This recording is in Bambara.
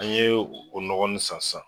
An ye o nɔgɔ nin san san